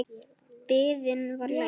Biðin var löng.